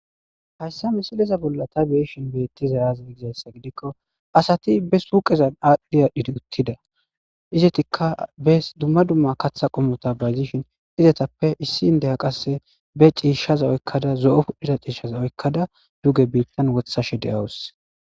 Hayssa misiliza bolla ta beeshin beettiza yaaza gizayssa gidikko asati be suqezan aadhdhiyadhidi uttida izetikka bes dumma dumma katha qomota bayzishin izetappe issi indeya qasse be ciishaza oykkada zo'oudhiza ciishshaza oykkada duge biittan wothashe de'awus.